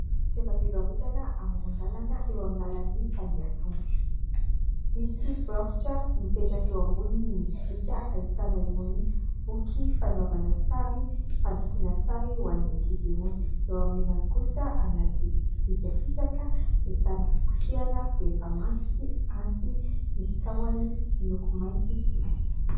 Toeram-pivarotana amoron-dalana eo amin'ny lalan'ny mpandeha tongotra. Misy baoritra mipetraka eo amboniny ny sobika ahitana eo amin'ny boky fanaovana sary fandokoana sary ho an'ny ankizy irony. Eo amin'ilany kosa anaty sobika fisaka ahitana fikosehana rehefa mandro sy antsy nisy tahony miloko mainty sy maitso.